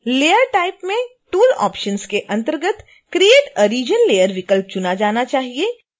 layer type में tool options के अंतर्गत create a region layer विकल्प चुना जाना चाहिए